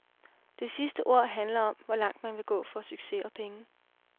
Det sidste ord handler om, hvor langt man vil gå for succes og penge.